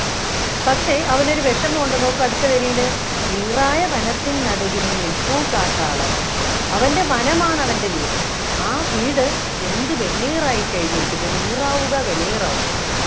പക്ഷേ അവൻ ഒരു വിഷമമുണ്ട് നോക്കൂ അടുത്ത വരിയില് നീറായ വനത്തിൻ നടുവിൽ നിൽപ്പു കാട്ടാളൻ അവൻ്റെ വനമാണ് അവൻ്റെ വീട് ആ വീട് വെന്തു വെണ്ണീറായിക്കഴിഞ്ഞിരിക്കുന്നു നീറാവുക വെണ്ണീറാവുക